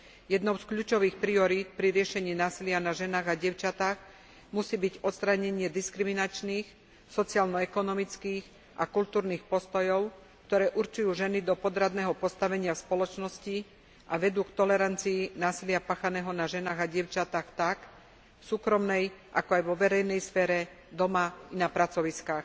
Jednou z kľúčových priorít pri riešení násilia na ženách a dievčatách musí byť odstránenie diskriminačných sociálno ekonomických a kultúrnych postojov, ktoré určujú ženy do podradného postavenia v spoločnosti a vedú k tolerancii násilia páchaného na ženách a dievčatách tak v súkromnej, ako aj vo verejnej sfére, doma i na pracoviskách.